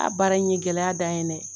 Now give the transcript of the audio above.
baara in ye gɛlɛya dan ye dɛ!